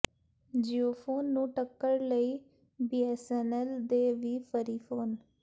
ਜੀਓਫੋਨ ਨੂੰ ਟੱਕਰ ਲਈ ਬੀਐਸਐਨਐਲ ਦੇ ਵੀ ਫਰੀ ਫੋਨ